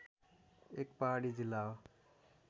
एक पहाडी जिल्ला हो